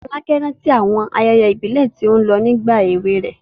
Folake rántí àwọn ayẹyẹ ìbílẹ̀ tí ó lọ nígbà èwe rẹ̀.